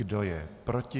Kdo je proti?